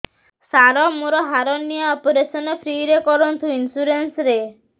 ସାର ମୋର hernia operation free ରେ କରନ୍ତୁ ଇନ୍ସୁରେନ୍ସ ରେ